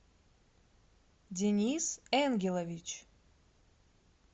денис энгелович